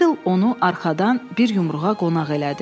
Bidle onu arxadan bir yumruğa qonaq elədi.